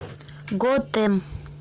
готэм